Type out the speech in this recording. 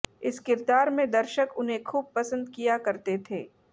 इस किरदार में दर्शक उन्हें खूब पसंद किया करते थें